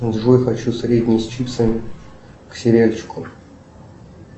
джой хочу средний с чипсами к сериальчику